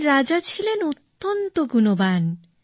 এখন রাজা ছিলেন অত্যন্ত গুণবান